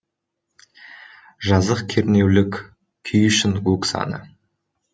жазық кернеулік күй үшін гук заңы